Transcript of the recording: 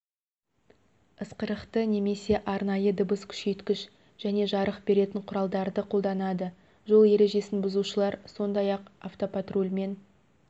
ысқырықты немесе арнайы дыбыс күшейткіш және жарық беретін құралдарды қолданады жол ережесін бұзушылар сондай-ақ автопатрульмен